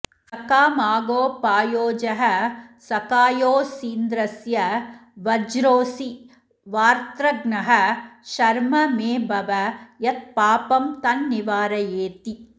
सखामागोपायोजः सखायोऽसीन्द्रस्य वज्रोऽसि वार्त्रघ्नः शर्म मे भव यत्पापं तन्निवारयेति